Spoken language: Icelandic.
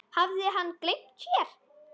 Hafði hann gleymt sér?